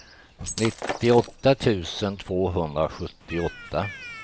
nittioåtta tusen tvåhundrasjuttioåtta